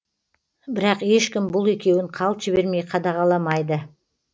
бірақ ешкім бұл екеуін қалт жібермей қадағаламайды